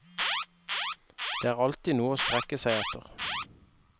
Det er alltid noe å strekke seg etter.